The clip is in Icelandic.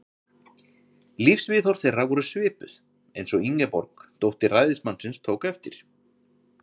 Lífsviðhorf þeirra voru svipuð, eins og Ingeborg, dóttir ræðismannsins, tók eftir.